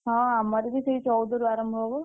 ହଁ ଆମର ବି ସେଇ ଚଉଦ ରୁ ଆରମ୍ଭ ହବ।